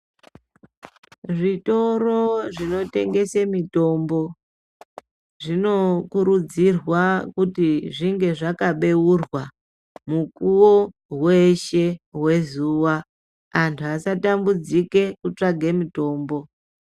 Zvitoro zvinotengese mitombo ,zvinokurudzirwa kuti zvinge zvakabeurwa, mukuwo weshe wezuwa, antu asatambudzike kutsvage mitombo.